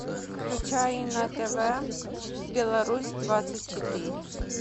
включай на тв беларусь двадцать четыре